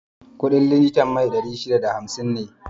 Kuɗin litan man fetur ɗari shida da hamsin ne